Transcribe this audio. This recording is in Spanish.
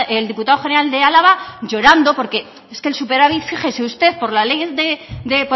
el diputado general de álava llorando porque es que el superávit fíjese usted por la ley de